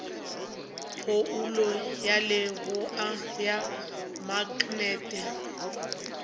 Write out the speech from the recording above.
phoulo ya leboa ya maknete